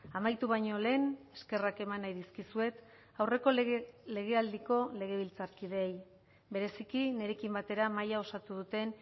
amaitu baino lehen eskerrak eman nahi dizkizuet aurreko legealdiko legebiltzarkideei bereziki nirekin batera mahaia osatu duten